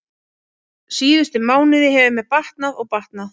Síðustu mánuði hefur mér batnað og batnað.